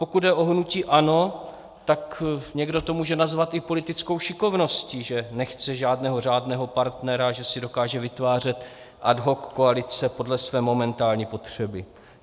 Pokud jde o hnutí ANO, tak někdo to může nazvat i politickou šikovností, že nechce žádného řádného partnera, že si dokáže vytvářet ad hoc koalice podle své momentální potřeby.